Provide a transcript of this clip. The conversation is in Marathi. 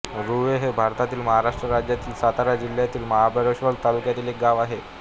रूळे हे भारतातील महाराष्ट्र राज्यातील सातारा जिल्ह्यातील महाबळेश्वर तालुक्यातील एक गाव आहे